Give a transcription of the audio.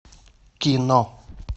кино